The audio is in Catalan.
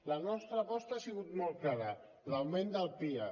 la nostra aposta ha sigut molt clara l’augment del pia